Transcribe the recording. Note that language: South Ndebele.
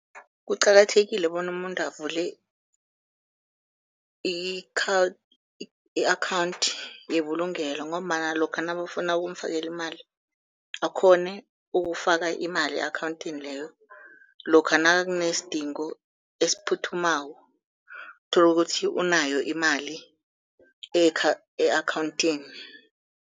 Kuqakathekile bona umuntu avule i-akhawunthi yebulungelo, ngombana lokha nabafuna ukumfakela imali akghone ukufaka imali e-akhawunthini leyo, lokha nakunesidingo esiphuthumako uthole ukuthi unayo imali e-akhawunthini.